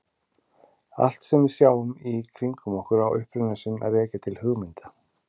Allt sem við sjáum í kringum okkur á uppruna sinn að rekja til hugmynda.